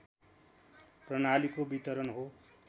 प्रणालीको वितरण हो